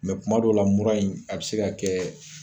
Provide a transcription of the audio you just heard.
kuma dɔw la mura in a bɛ se ka kɛ